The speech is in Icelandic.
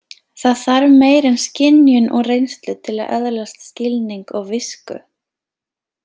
Það þarf meira en skynjun og reynslu til að öðlast skilning og visku.